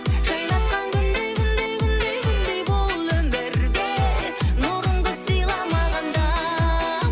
жайнатқан күндей күндей күндей күндей бұл өмірде нұрыңды сыйла маған да